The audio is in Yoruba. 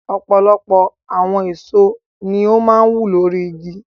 Ọ̀pọ̀lọpọ̀ àwọn èso ni ó máa ń wù lórí igi.